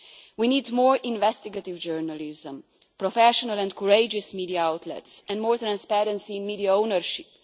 We need more investigative journalists, professional and courageous media outlets and more transparency in media ownership.